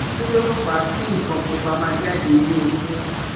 Kí ló ń fa kin nkan pupa ma jade ni oko?